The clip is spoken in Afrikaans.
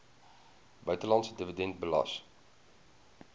buitelandse dividende belas